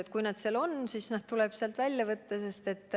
Ja kui keegi läbipõdenu seal nimekirjas on, siis tuleb ta sealt välja võtta.